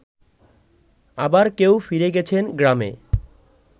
আবার কেউ ফিরে গেছেন গ্রামে